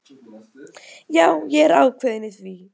Já, ég er ákveðinn í því.